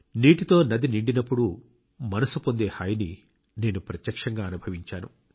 నీటితో నది నిండినప్పుడు మనస్సు పొందే హాయిని నేను ప్రత్యక్షంగా అనుభవించాను